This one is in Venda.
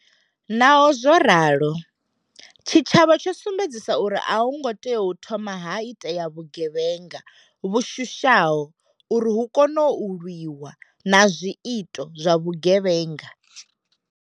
Naho zwo ralo, tshitshavha tsho sumbedzisa uri a ho ngo tea u thoma ha itea vhuge vhenga vhu shushaho uri hu kone u lwiwa na zwiito zwa vhugevhenga.